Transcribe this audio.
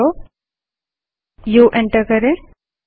up arrow uh enter करें